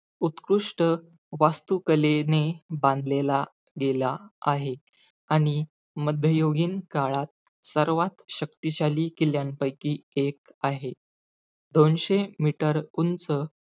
उत्कृष्ट वास्तुकलेने बांधलेला गेलेला आहे. आणि मध्ययुगीन काळात सर्वात शक्तिशाली किल्ल्यापैकी एक आहे. दोनशे meter उंच,